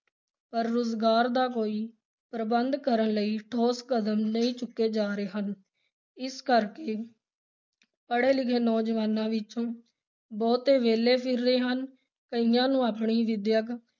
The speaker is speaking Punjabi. ਪਰ ਰੁਜ਼ਗਾਰ ਦਾ ਕੋਈ ਪ੍ਰਬੰਧ ਕਰਨ ਲਈ ਠੋਸ ਕਦਮ ਨਹੀਂ ਚੁੱਕੇ ਜਾ ਰਹੇ ਹਨ, ਇਸੇ ਕਰਕੇ ਪੜੇ-ਲਿਖੇ ਨੌਜਵਾਨਾਂ ਵਿਚੋਂ ਬਹੁਤੇ ਵਿਹਲੇ ਫਿਰ ਰਹੇ ਹਨ, ਕਈਆਂ ਨੂੰ ਆਪਣੀ ਵਿੱਦਿਅਕ